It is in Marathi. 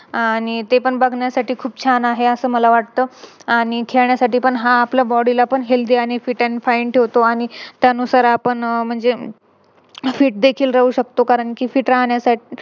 आणि ते पण बघण्यासाठी खूप छान आहे असं मला वाटत आणि खेळण्यासाठी पण हा आपल्या Body ला खूप Healthy आणि Fit and fine ठेवतो आणि त्यानुसार आपण म्हणजे Fit देखील राहू शकतो कारण कि